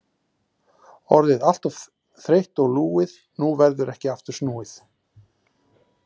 Orðið allt of þreytt og lúið, nú verður ekki aftur snúið.